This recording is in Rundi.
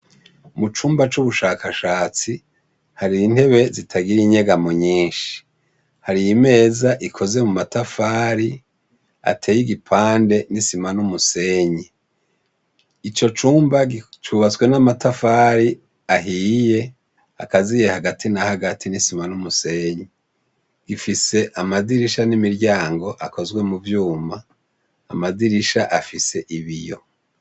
Mucumba c'ubushakashatsi, hari intebe zitagira inyegamo nyishi, harimeza ikoze mumatafari ateye igipande n'isima n'umusenyi, icocumba cubatse n'amatafari ahiye, agaziye hagati nahagati nisima n'umusenyi. Gifise Amadirisha n'imiryango akozwe muvyuma ,Amadirisha afise ibiyo.